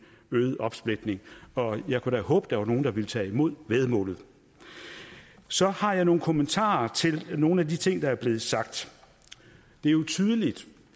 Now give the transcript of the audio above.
øget opsplitning jeg kunne da håbe at der var nogle der ville tage imod væddemålet så har jeg nogle kommentarer til nogle af de ting der er blevet sagt det er jo tydeligt